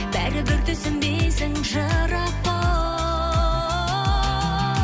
бәрібір түсінбейсің жырақ бұл